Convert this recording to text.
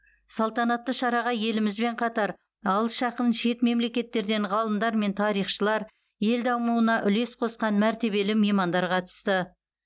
салтанатты шараға елімізбен қатар алыс жақын шет мемлекеттерден ғалымдар мен тарихшылар ел дамуына үлес қосқан мәртебелі меймандар қатысты